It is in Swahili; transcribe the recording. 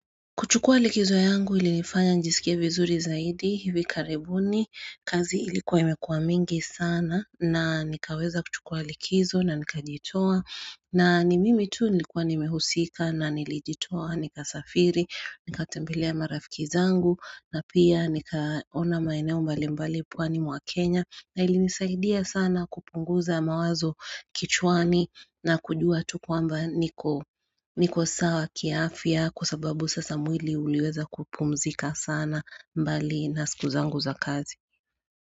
Kuchukua likizo yangu ili nifanya nijisikie vizuri zaidi hivi karibuni kazi ilikuwa imekuwa mingi sana na nikaweza kuchukua likizo na nikajitoa na ni mimi tu nilikuwa nimehusika na nilijitoa nikasafiri nikatembilia marafiki zangu na pia nikaona maeneo mbalimbali pwani mwa Kenya na ili nisaidia sana kupunguza mawazo kichwani na kujua tu kwamba niko niko sawa kiafya kwa sababu sasa mwili. Uliweza kupumzika sana mbali na siku zangu za kazi.